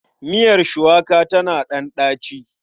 Miiyar shuwaka tana ɗan ɗaci.